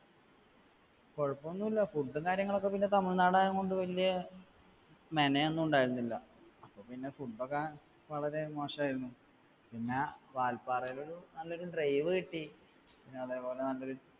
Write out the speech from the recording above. കുഴപ്പമൊന്നുമില്ല food ഉം കാര്യങ്ങളുമൊക്കെ പിന്നെ തമിഴ്‌നാടായതുകൊണ്ട് വലിയ മെനയൊന്നുമുണ്ടായിരുന്നില്ല. പിന്നെ food ഒക്കെ വളരെ മോശമായിരുന്നു പിന്നെ വാൽപ്പാറ വരെ നല്ലൊരു drive കിട്ടി. പിന്നെ അതെപ്പോലെ നല്ലൊരു